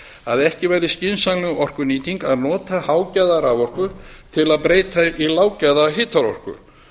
að ekki væri skynsamleg orkunýting að nota hágæða raforku til að breyta í lággæða hitaorku